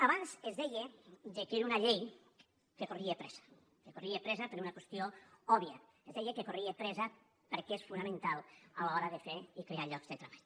abans es deia que era una llei que corria pressa que corria pressa per una qüestió òbvia es deia que corria pressa perquè és fonamental a l’hora de fer i crear llocs de treball